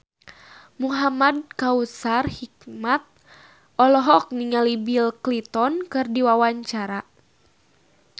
Muhamad Kautsar Hikmat olohok ningali Bill Clinton keur diwawancara